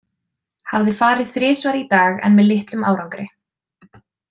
Hafði farið þrisvar í dag en með litlum árangri.